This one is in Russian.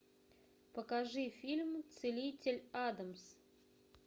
покажи фильм целитель адамс